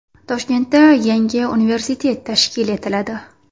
Toshkentda yangi universitet tashkil etiladi.